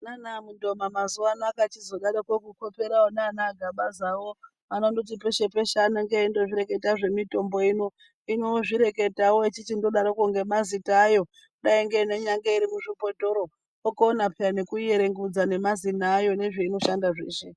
Naana Mundoma mazuvano akachi zodaroko kukopera ona ana Gabazawo anondoti peshe-peshe anenge eindo zvireketa zvemitombo ino. Hino ozvireketawo echichindo daroko ngemazita ayo dai nenyange iri muzvibhotoro, okona peya neku ierengudza ngemazina ayo nezveino shanda zveshe.